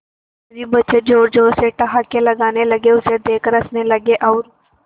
सभी बच्चे जोर जोर से ठहाके लगाने लगे उसे देख कर हंसने लगे और